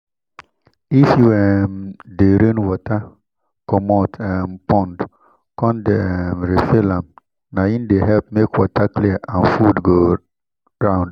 if you um de drain water comot um pond con de um refill am nai de help make water clear and food go round